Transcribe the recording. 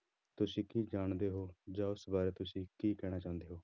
ਤੁਸੀਂ ਕੀ ਜਾਣਦੇ ਹੋ ਜਾਂ ਉਸ ਬਾਰੇ ਤੁਸੀਂ ਕੀ ਕਹਿਣਾ ਚਾਹੁੰਦੇ ਹੋ।